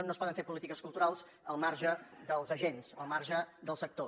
no es poden fer polítiques culturals al marge dels agents al marge del sector